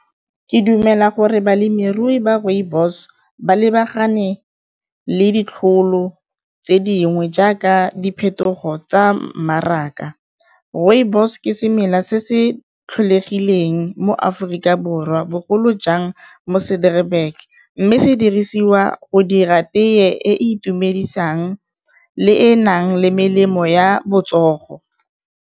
Ke dumela gore balemirui ba rooibos ba lebagane le ditlholo tse dingwe jaaka diphetogo tsa mmaraka, rooibos ke semela se se tlholegileng mo Aforika Borwa bogolo jang mo mme se dirisiwa go di ra tee e e itumedisang le e nang le melemo ya botsogo.